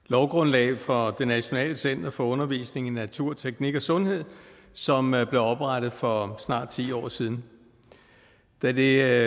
lovgrundlag for det nationale center for undervisning i natur teknik og sundhed som blev oprettet for snart ti år siden da det